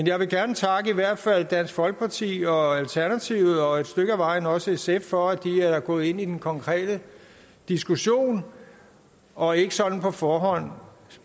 jeg vil gerne takke i hvert fald dansk folkeparti og alternativet og et stykke ad vejen også sf for at de er gået ind i den konkrete diskussion og ikke sådan på forhånd